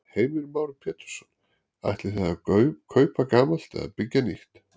Heimir Már Pétursson: Ætlið þið að kaupa gamalt eða byggja nýtt?